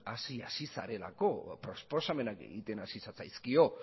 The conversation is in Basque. hasi zarelako proposamenak egiten hasi zatzaizkio